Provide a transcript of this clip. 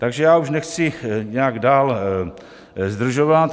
Takže já už nechci nějak dál zdržovat.